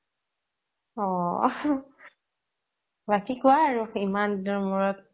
অ বাকী কোৱা আৰু ইমান দিনৰ মূৰত